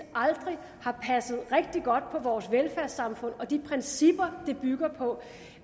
aldrig har passet rigtig godt på vores velfærdssamfund og de principper det bygger på